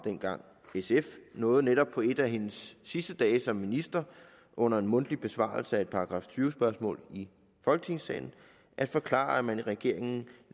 sf nåede netop på en af hendes sidste dage som minister under en mundtlig besvarelse af et § tyve spørgsmål i folketingssalen at forklare at man i regeringen